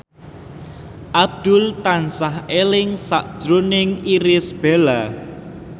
Abdul tansah eling sakjroning Irish Bella